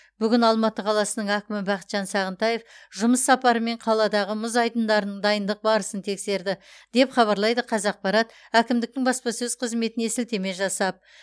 бүгін алматы қаласының әкімі бақытжан сағынтаев жұмыс сапарымен қаладағы мұз айдындарының дайындық барысын тексерді деп хабарлайды қазақпарат әкімдіктің баспасөз қызметіне сілтеме жасап